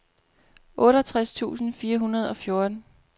otteogtres tusind fire hundrede og fjorten